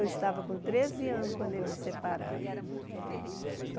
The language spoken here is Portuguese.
Eu estava com treze anos quando eles se separaram. Mas